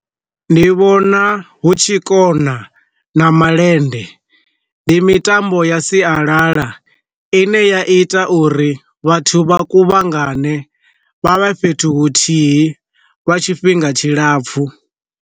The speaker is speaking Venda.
Ndi vhona hu tshi kona na malende, ndi mitambo ya sialala ine ya ita uri vhathu vha kuvhangana vha vhe fhethu huthihi lwa tshifhinga tshilapfhu.